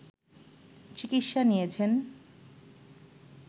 চিকিৎসা নিয়েছেন